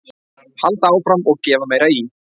Halda áfram og gefa meira í.